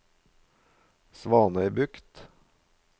Svanøybukt